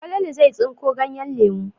Falalu zai tsinko ganyen lemu.